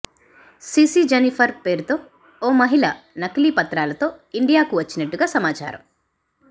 CC Jennifer పేరుతో ఓ మహిళ నకిలీ పత్రాలతో ఇండియాకు వచ్చినట్టుగా సమాచారం